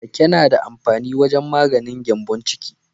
Rake na da amfani wajen maganin gyambon ciki.